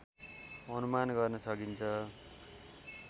अनुमान गर्न सकिन्छ।